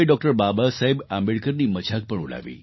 બાબાસાહેબ આંબેડકરની મજાક પણ ઉડાવી